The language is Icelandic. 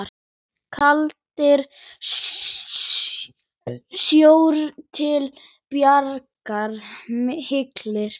Kaldari sjór til bjargar humri?